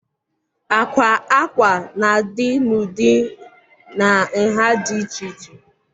Àkwà ákwá na-adị n'ụdị na nha dị iche iche.